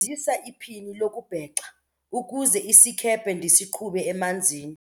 iphini lokubhexa ukuze isikhephe ndisiqhube emanzini.